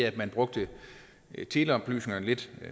at man brugte teleoplysningerne lidt